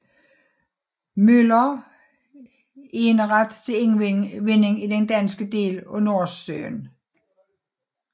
Møller eneret til indvinding i den danske del af Nordsøen